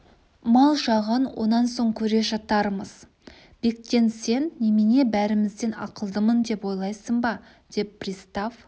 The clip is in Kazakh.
мал жағын онан соң көре жатармыз бектен сен немене бәрімізден ақылдымын деп ойлайсың ба деп пристав